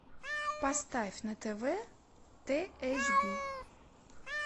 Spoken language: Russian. поставь на тв тэ эйч би